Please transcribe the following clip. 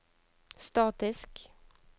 statisk